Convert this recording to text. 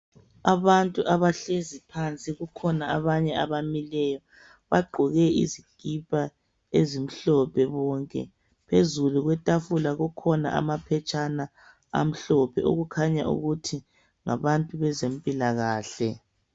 Abantu abahlezi phansi, kukhona abanye abamileyo. Bagqoke izikipa ezimhlophe bonke. Phezulu kwetafula kukhona amaphetshana amhlophe okukhanya ukuthi ngabantu bezempilakahle.